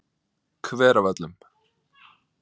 Hveravöllum